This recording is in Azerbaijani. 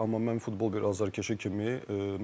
Amma mən futbol bir azərkeşi kimi,